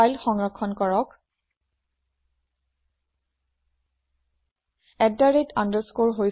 file সংৰক্ষণ কৰক